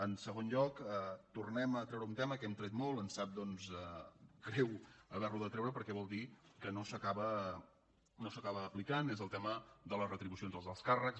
en segon lloc tornem a treure un tema que hem tret molt ens sap greu haver lo de treure perquè vol dir que no s’acaba aplicant que és el tema de les retribucions dels alts càrrecs